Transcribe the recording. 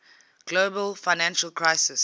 global financial crisis